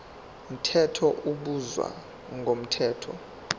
mthetho ubizwa ngomthetho